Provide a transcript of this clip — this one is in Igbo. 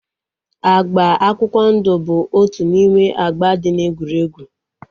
Agba akwụkwọ ndụ bụ otu n'ime agba dị na egwurugwu